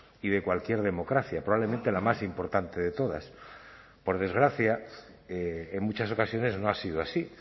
y de cualquier democracia probablemente la más importante de todas por desgracia en muchas ocasiones no ha sido así